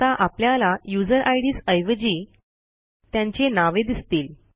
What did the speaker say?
आता आपल्याला user IDs ऐवजी त्यांची नावे दिसतील